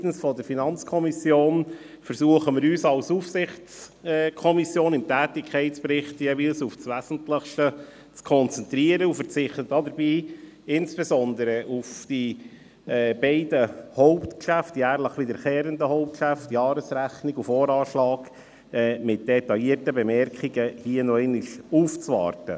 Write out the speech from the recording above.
Seitens der FiKo versuchen wir uns als Aufsichtskommission im Tätigkeitsbericht jeweils auf das Wesentlichste zu konzentrieren und verzichten dabei insbesondere bei den beiden jährlich wiederkehrenden Hauptgeschäften Jahresrechnung und Voranschlag nochmals mit detaillierten Bemerkungen aufzuwarten.